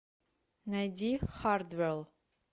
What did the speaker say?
найди хардвэл